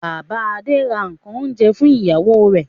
Bàbá Adé ra nǹkan oúnjẹ fún ìyàwó rẹ̀.